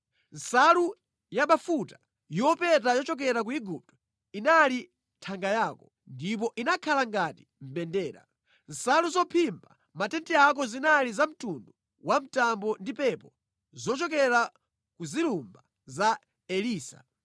Nsalu yabafuta yopeta yochokera ku Igupto inali thanga yako, ndipo inakhala ngati mbendera. Nsalu zophimba matenti ako zinali za mtundu wamtambo ndi pepo zochokera ku zilumba za Elisa.